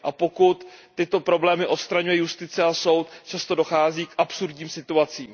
Pokud tyto problémy odstraňuje justice a soud, často dochází k absurdním situacím.